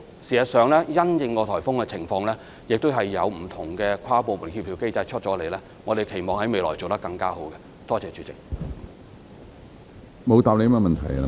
事實上，因應颱風的情況，我們會有不同的跨部門協調機制，期望未來在這方面能夠做得更好。